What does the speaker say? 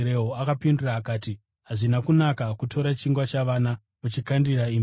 Akapindura akati, “Hazvina kunaka kutora chingwa chavana muchichikandira imbwa.”